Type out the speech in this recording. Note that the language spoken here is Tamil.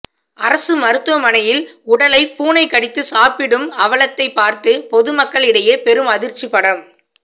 அரசு மருத்துவமனையில் உடலை பூனை கடித்து சாப்பிடும் அவலத்தை பார்த்து பொதுமக்களிடையே பெரும் அதிர்ச்சிப்படம்